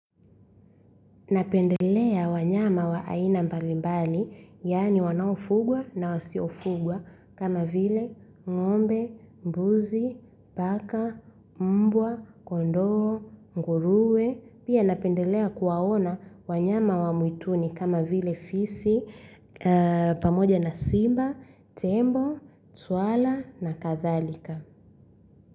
Napendelea wanyama wa aina mbalimbali, yani wanaofugwa na wasiofugwa, kama vile ng'ombe, mbuzi, paka, mbwa, kondoo, nguruwe. Pia napendelea kuwaona wanyama wa mwituni kama vile fisi, pamoja na simba, tembo, swala na kadhalika.